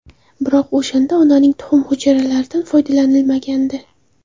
Biroq o‘shanda onaning tuxum hujayralaridan foydalanilmagandi.